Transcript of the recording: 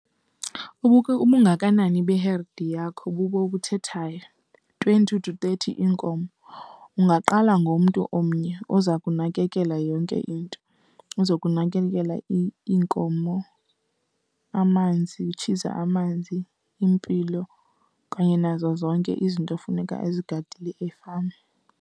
Ubungakanani beherdi yakho bubo obuthethayo. Twenty to thirty iinkomo, ungaqala ngomntu omnye oza kunakekela yonke into, ozokunakekela iinkomo, amanzi, utshiza amanzi, impilo okanye nazo zonke izinto efuneka ezigadile efama.